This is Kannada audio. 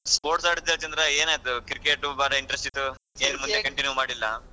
Sports ಆಡ್ತ್ಯಲ್ಲ ಚಂದ್ರ ಏನ್ ಆಯ್ತು Cricket ಭಾಳ interest ಇತ್ತು ಮತ್ತೇ ಏನ್ ಮುಂದೆ continue ಮಾಡಿಲ್ಲಾ?